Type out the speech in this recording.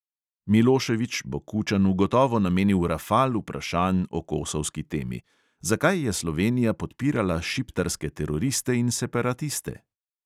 Milošević bo kučanu gotovo namenil rafal vprašanj o kosovski temi: zakaj je slovenija podpirala šiptarske teroriste in separatiste?